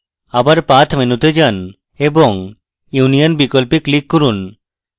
আবার path menu তে যান এবং union বিকল্পে click করুন